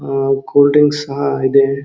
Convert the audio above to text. ಅಹ್ cold drinks ಸಹ ಇದೆ.